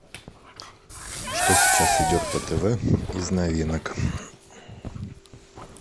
что сейчас идет по тв из новинок